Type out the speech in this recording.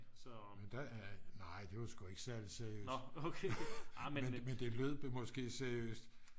nej det var sgu ikke særligt seriøst men det lød måske lidt seriøst